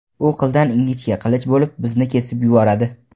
u qildan ingichka qilich bo‘lib bizni kesib yuboradi.